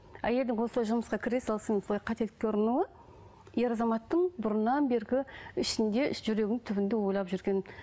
әйелдің осылай жұмысқа кіре салысымен солай қателікке ұрынуы ер азаматтың бұрыннан бергі ішінде жүрегінің түбінде ойлап жүрген